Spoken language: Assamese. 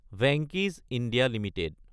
ভেংকি'চ (ইণ্ডিয়া) এলটিডি